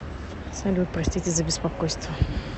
салют простите за беспокойство